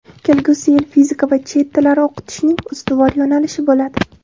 Kelgusi yil fizika va chet tillari o‘qitishning ustuvor yo‘nalishi bo‘ladi.